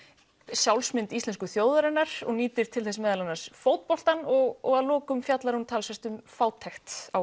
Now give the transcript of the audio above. sjálfsmynd íslensku þjóðarinnar og nýtir til þess meðal annars fótboltann og að lokum fjallar hún talsvert um fátækt á